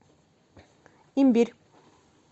имбирь